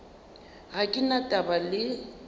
ga ke na taba le